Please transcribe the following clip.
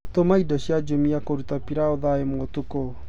tuma indo cia jumia kũrũta pilau thaa ĩmwe ũtũkũ